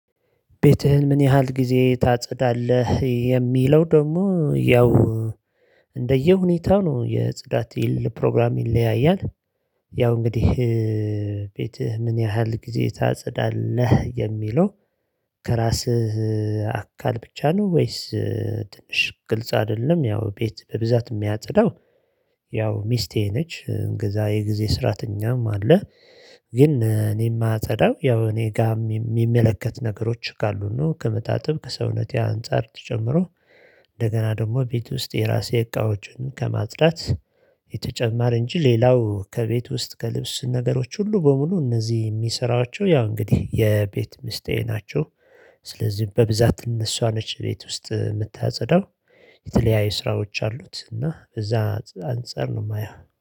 ቤትህን ምን ያህል ጊዜ ታጸዳለህ የሚለው ደሞ ያው እንደየ ሁኔታው ነው የጽዳቴ ፕሮግራም ይለያያል። ያው እንግዲህ ቤትህ ምን ያህል ጊዜ ታጸዳለህ? የሚለው ከራስህ አካል ብቻ ነው? ወይስ ትንሽ ግልጽ አደለም ያው ቤት በብዛት ሚያጽዳው። ያው ሚስቴ ነች እንገዛ የጊዜ ስራትኛም አለ። ግን እኔ ማጽዳ ያው እኔ ጋ ሚመለከት ነገሮች ካሉን ነው። ከምታጥብ ከሰውነቴ አንፃር ተጨምሮ። እንደገና ደሞ ቤት ውስጥ የራሴ እቃዎችን ከማጽዳት። የተጨመረ እንጂ ሌላው ከቤት ውስጥ ከልብስ ነገሮች ሁሉ በሙሉ እነዚህ ሚሰራቸው ያው እንግዲህ የቤት ሚስቴ ናቸው። ስለዚህ በብዛት እነሱ ነች ቤት ውስጥ መታጽዳው። የተለያየ ስራዎች አሉት እና በዛ አንፃር ነው ማያው